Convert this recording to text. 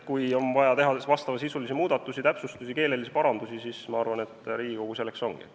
Kui on vaja teha vastavasisulisi muudatusi, täpsustusi või keelelisi parandusi, siis ma arvan, et Riigikogu selleks ongi.